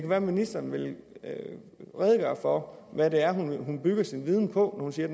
være ministeren vil redegøre for hvad det er hun bygger sin viden på når hun siger at